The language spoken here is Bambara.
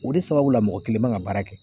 O de sababula mɔgɔ kelen man ka baara kɛ.